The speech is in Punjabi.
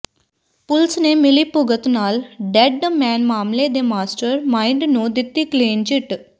ਪੁਲਸ ਨੇ ਮਿਲੀਭੁਗਤ ਨਾਲ ਡੈੱਡ ਮੈਨ ਮਾਮਲੇ ਦੇ ਮਾਸਟਰ ਮਾਈਂਡ ਨੂੰ ਦਿੱਤੀ ਕਲੀਨ ਚਿੱਟ